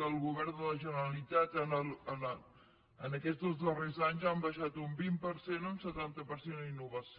del govern de la generalitat en aquests dos darrers anys han baixat un vint per cent un setanta per cent en innovació